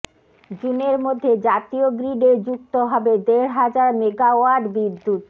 জুনের মধ্যে জাতীয় গ্রিডে যুক্ত হবে দেড় হাজার মেগাওয়াট বিদ্যুৎ